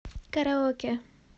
караоке